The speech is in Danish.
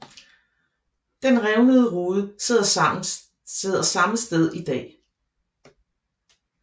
Den revnede rude sidder samme sted i dag